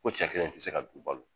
Ko cɛ kelen te se ka du balo